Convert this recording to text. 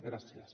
gràcies